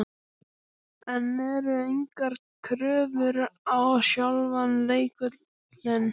En eru engar kröfur á sjálfan leikvöllinn?